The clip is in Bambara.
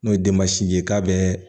N'o ye denbasinin ye k'a bɛ